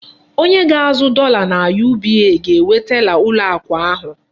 Onye ga-azụ dọla na UBA ga-enwe tela ụlọ akụ ahụ.